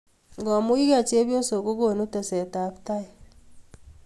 komuchkei chepyosok ko konu teset ab tai